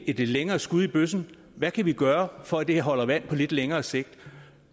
et lidt længere skud i bøssen hvad kan vi gøre for at det holder vand på lidt længere sigt